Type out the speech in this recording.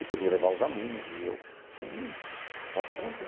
Se podia levar os alunos e eu, sim, pode trazer.